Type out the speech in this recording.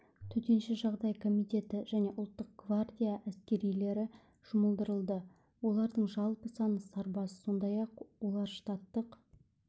төтенше жағдайлар комитеті және ұлттық гвардия әскерилері жұмылдырылды олардың жалпы саны сарбаз сондай-ақ олар штаттық